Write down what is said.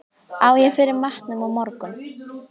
Á ég fyrir matnum á morgun?